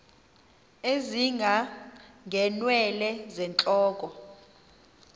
ezinga ngeenwele zentloko